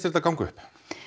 þetta ganga upp